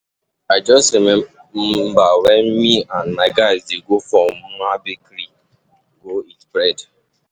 I just remember wen me and my guys dey go for Mma um bakery go eat bread